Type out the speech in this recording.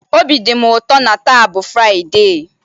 Obi dị m ụtọ n'ihi na taa bụ Fraịde!